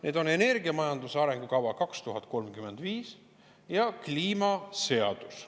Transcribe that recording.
Need on energiamajanduse arengukava 2035 ja kliimaseadus.